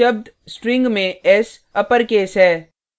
ध्यान दें शब्द string में s अपरकेस है